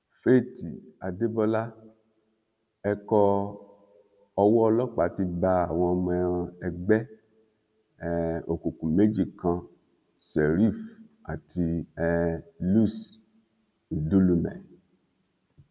faith adébọlá ẹkọ owó ọlọpàá ti bá àwọn ọmọ ẹgbẹ um òkùnkùn méjì kan sheriff àti um luc ńdùlùmẹ